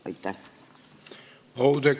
Aitäh!